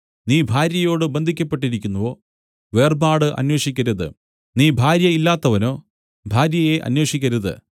നീ ഭാര്യയോടു ബന്ധിക്കപ്പെട്ടിരിക്കുന്നുവോ വേർപാട് അന്വേഷിക്കരുത് നീ ഭാര്യ ഇല്ലാത്തവനോ ഭാര്യയെ അന്വേഷിക്കരുത്